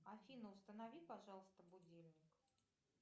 афина установи пожалуйста будильник